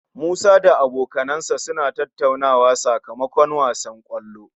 Musa da abokansa suna tattauna sakamakon wasan kwallon